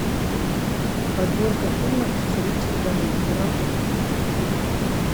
подборка фильмов с ричардом гиром